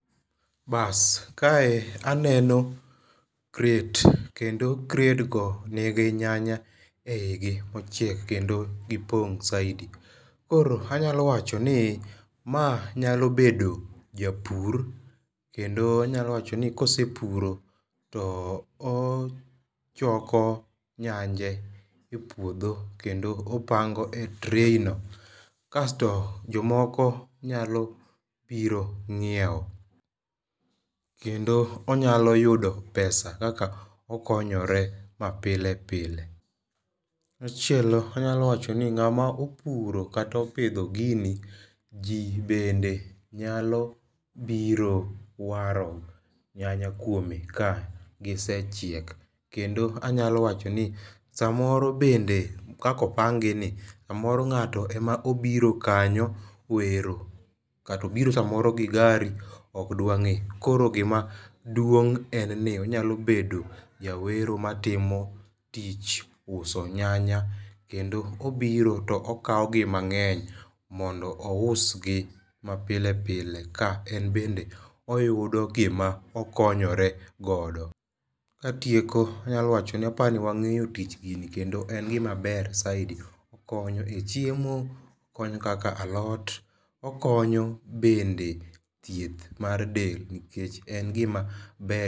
Bas kae aneno crate kendo kredgo nigi nyanya eigi ochiek kendo gipong saidi. Koro anyalo wacho ni ma nyalo bedo japur kendo nyalo wacho ni kosepuro to ochoko nyanje e puodho kendo opango e tray no kasto jomoko nyalo biro ng'iewo kendo onyalo yudo pesa kaka okonyore mapile pile machielo anyalo wacho ni ng'amopuro kato pidho gini jii bende nyalo biro waro nyanya kuome ka gisechiek. Kendo anya lo wacho ni samoro bende kakopang gi ni samoro ng'ato emobiro kanyo wero kato biro samoro gi gari ok dwang'e koro gimaduong en ni onyalo bedo jawero matimo tich uso nyanya kendo obiro to okawo gi mang'eny mondo ousgi mapile pile ka en bende oyudo gima okonyore godo. Katieno anyalo wacho ni apa ni wang'eyo tich gini kendo en gima ber saidi okonyo e chiemo. Okonyo kaka alot okonyo bende thieth mar del nikech en gima ber